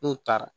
N'u taara